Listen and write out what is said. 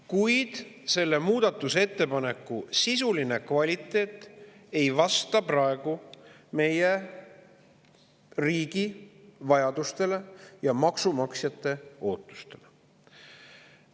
Kuid selle muudatusettepaneku sisuline kvaliteet ei vasta praegu meie riigi vajadustele ja maksumaksjate ootustele.